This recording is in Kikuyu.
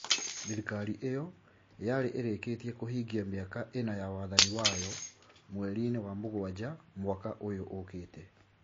Thirikari ĩyo yarĩ ĩrĩkĩtie kũhingia mĩaka ĩna ya wathani wayo mweri-inĩ wa mũgwanja mwaka ũyũ ũkĩte.